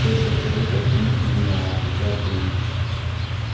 только скажи почему с ними обязательно